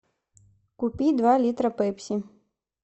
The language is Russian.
купи два литра пепси